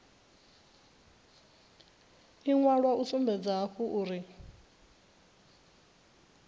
iwalo hu sumbedza hafhu uri